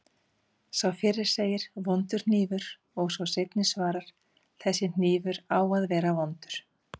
Sá fyrri segir: Vondur hnífur og sá seinni svarar: Þessi hnífur á að vera vondur